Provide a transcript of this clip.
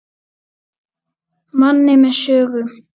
Manni með sögu.